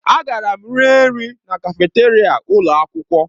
Agara m rie nri na kafeteria ụlọ akwụkwọ.